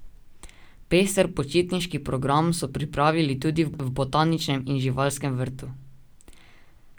Pester počitniški program so pripravili tudi v botaničnem in živalskem vrtu.